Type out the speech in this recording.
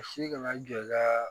Si kana jɔ i ka